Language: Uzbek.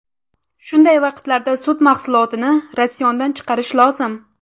Shunday vaqtlarda sut mahsulotini ratsiondan chiqarish lozim.